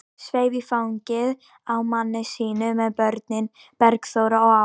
Sveif í fangið á manni sínum með börnin, Bergþóru og Álf.